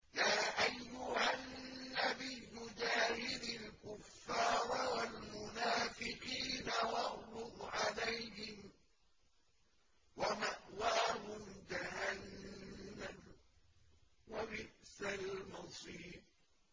يَا أَيُّهَا النَّبِيُّ جَاهِدِ الْكُفَّارَ وَالْمُنَافِقِينَ وَاغْلُظْ عَلَيْهِمْ ۚ وَمَأْوَاهُمْ جَهَنَّمُ ۖ وَبِئْسَ الْمَصِيرُ